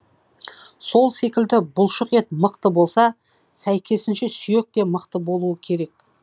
сол секілді бұлшықет мықты болса сәйкесінше сүйек те мықты болуы керек